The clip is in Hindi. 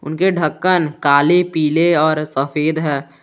उनके ढक्कन काले पीले और सफेद है।